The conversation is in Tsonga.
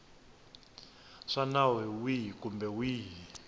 swa nawu wihi kumbe wihi